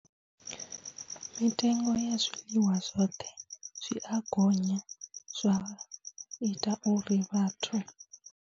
Mitengo ya zwiḽiwa zwoṱhe zwi a gonya zwa ita uri vhathu.